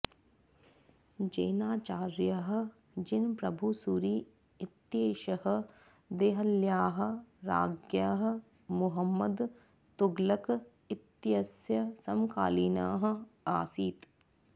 जैनाचार्यः जिनप्रभुसूरि इत्येषः देहल्याः राज्ञः मुहम्मद तुगलक इत्यस्य समकालीनः आसीत्